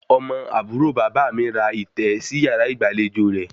Ọmọ àbúrò bàbá mi ra ìtẹ́ sí yàrá ìgbàlejò rẹ̀